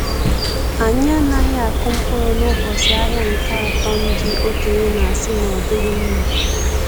Anyị anaghị akụ mkpụrụ n’ụbọchị ahịa nke atọ ndi okenye na-asị na ọdighi mma.